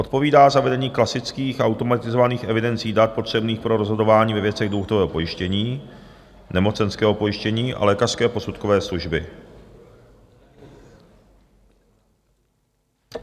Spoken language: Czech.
odpovídá za vedení klasických automatizovaných evidencí dat potřebných pro rozhodování ve věcech důchodového pojištění, nemocenského pojištění a lékařské posudkové služby,